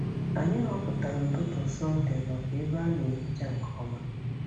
Anyị họpụtara ụtụtụ Sọnde maka ebe a na-ehicha nke ọma.